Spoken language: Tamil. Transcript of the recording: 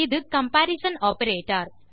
இது கம்பரிசன் ஆப்பரேட்டர்